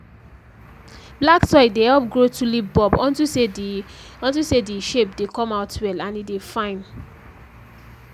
black soil dey dey help grow tulip bulb unto say the unto say the shape dey come out well and e dey fine